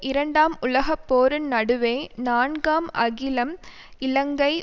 இரண்டாம் உலக போரின் நடுவே நான்காம் அகிலம் இலங்கை